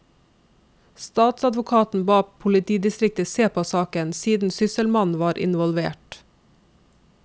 Statsadvokaten ba politidistriktet se på saken, siden sysselmannen var involvert.